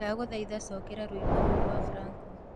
ndagũthaĩtha cokera rwĩmbo rũũ rwa franco